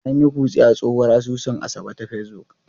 An yi kutse a tsohuwar asusun Asabe ta Facebook.